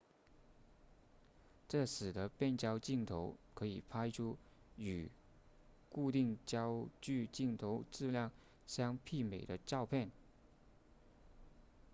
这使得变焦镜头可以拍出与固定焦距镜头质量相媲美的照片